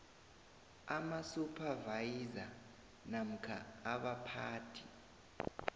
amasuphavayiza namkha abaphathi